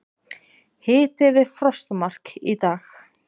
Hiti við frostmark í dag